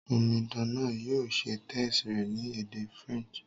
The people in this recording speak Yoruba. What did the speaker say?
Omidan náà yio se test rẹ̀ ni èdè French